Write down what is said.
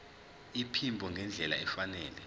iphimbo ngendlela efanele